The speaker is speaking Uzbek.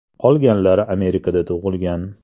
Qolganlari Amerikada tug‘ilgan.